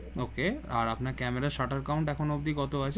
ওকে আর আপনার camera shutter count এখন অব্দি কত আছে?